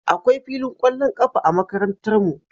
Akwai filin ƙwallon ƙafa a Makarantarmu